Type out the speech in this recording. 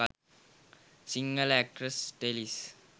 sinhala actress telees